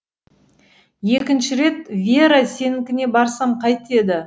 екінші рет вера сенікіне барсам қайтеді